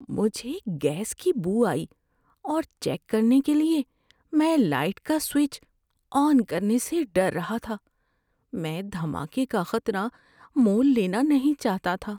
مجھے گیس کی بو آئی اور چیک کرنے کے لیے میں لائٹ کا سوئچ آن کرنے سے ڈر رہا تھا۔ میں دھماکے کا خطرہ مول لینا نہیں چاہتا تھا۔